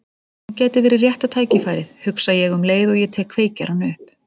Nú gæti verið rétta tækifærið, hugsa ég um leið og ég tek kveikjarann upp.